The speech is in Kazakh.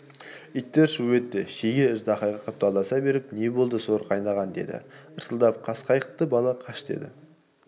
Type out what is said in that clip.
иттер шу етті шеге ждақайға қапталдаса беріп не болды соры қайнаған деді ырсылдап қасқайтты бала қаш деп